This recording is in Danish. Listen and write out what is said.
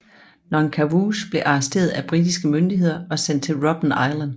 Nongqawuse blev arresteret af britiske myndigheder og sendt til Robben Island